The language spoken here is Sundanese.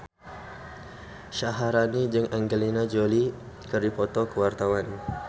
Syaharani jeung Angelina Jolie keur dipoto ku wartawan